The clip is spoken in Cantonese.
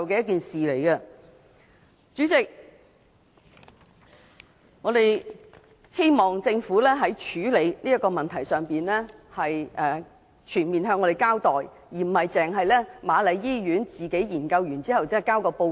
代理主席，我們希望政府在處理這個問題時，全面向市民交代，而不是瑪麗醫院自行研究和提交報告。